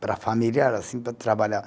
Para a família era assim, para trabalhar.